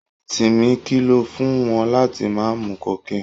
Timmy kìlọ̀ fún wọn láti má mu cocaine.